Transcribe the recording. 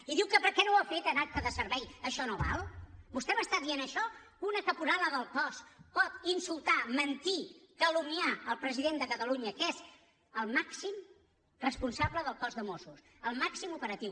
i diu que perquè no ho ha fet en acte de servei això no val vostè m’està dient això una caporala del cos no pot insultar mentir calumniar el president de catalunya que és el màxim responsable del cos de mossos el màxim operatiu